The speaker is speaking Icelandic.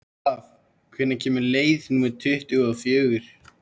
Olav, hvenær kemur leið númer tuttugu og fjögur?